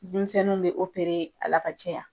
Denmisɛnninw bɛ a la ka caya ya.